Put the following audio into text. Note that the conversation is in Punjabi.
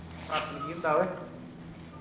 ਨਕਾਤਲ ਕੀ ਹੁੰਦਾ ਓਏ